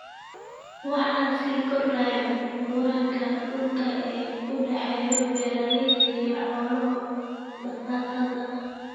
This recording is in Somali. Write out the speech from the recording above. Waxaa sii kordhaya muranka dhulka ee u dhaxeeya beeralayda iyo xoolo dhaqatada.